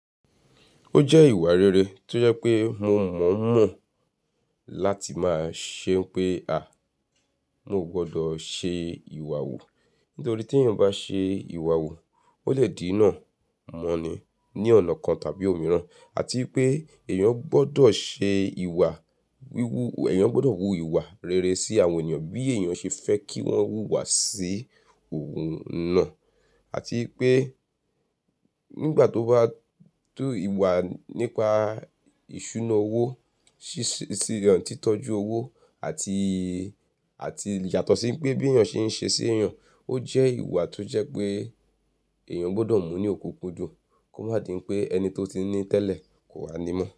Ó jẹ́ ìwà rere tó yẹ pé mo mọ̀ mọ̀ láti máa ṣe pé, à, mo gbọdọ̀ ṣe ìwà wu. Nítorí tí èèyàn bá ṣe ìwà wu, ó lè dinà mọ́ni ní ọ̀nà kan tàbí òmíràn. Àti ipé èèyàn gbọdọ̀ ṣe ìwà wíwú, èèyàn gbọdọ̀ wú ìwà rere sí àwọn ènìyàn bí èèyàn ṣe fẹ́ kí wọ́n wú ìwà sí òun náà. Àti pé nígbà tó bá tú ìwà nípa ìṣúná owó, ṣíṣíran títọ́jú owó àti, àti yàtọ̀ sí pé bí èèyàn ṣe ń ṣe sí èèyàn, ó jẹ́ ìwà tó jẹ́ pé èèyàn gbọdọ̀ mú ní òkúkudun kó má di í pé ẹni tó ti ń ní tẹ́lẹ̀ kò wà nímọ̀